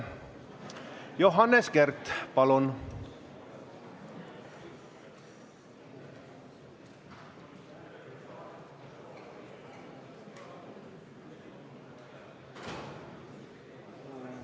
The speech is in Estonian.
Johannes Kert, palun!